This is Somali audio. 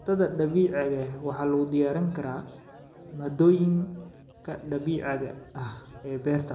Cuntada dabiiciga ah waxaa lagu diyaarin karaa maaddooyinka dabiiciga ah ee beerta.